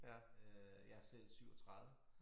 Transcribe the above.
Øh jeg er selv 37